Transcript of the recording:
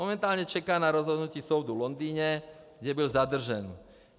Momentálně čeká na rozhodnutí soudu v Londýně, kde byl zadržen.